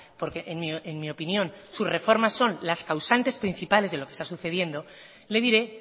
porque en mí opinión sus reformas son las causantes principales de lo que está sucediendo le diré